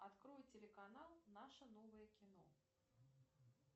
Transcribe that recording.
открой телеканал наше новое кино